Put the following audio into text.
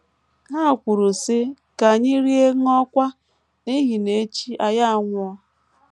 Ha kwuru, sị: “ Ka anyị rie ṅụọkwa, n’ihi na echi anyị anwụọ. ”